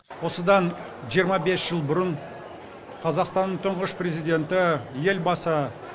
осыдан жиырма бес жыл бұрын қазақстанның тұңғыш президенті елбасы